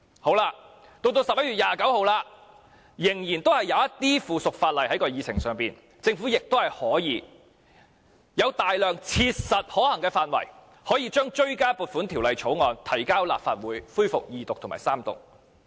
到了11月29日，議程上仍然有一些附屬法例，政府亦有大量切實可行的範圍，可以將追加撥款條例草案提交立法會恢復二讀及三讀。